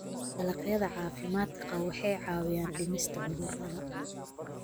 Dalagyada caafimaadka qaba waxay caawiyaan dhimista cudurrada.